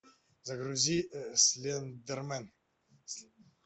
загрузи слендермен